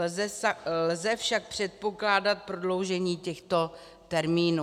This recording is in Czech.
Lze však předpokládat prodloužení těchto termínů.